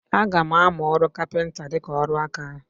Aga m amụ ọrụ kapịnta dịka ọrụ aka.